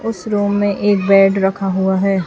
उसे रूम में एक बेड रखा हुआ है।